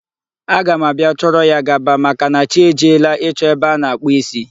Aga m abịa chọrọ ya gaba, maka na chi e jiela ịchọ ebe a na-akpụ isi.